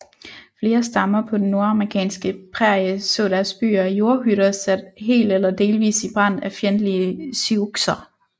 Flere stammer på den nordamerikanske prærie så deres byer af jordhytter sat helt eller delvis i brand af fjendtlige siouxer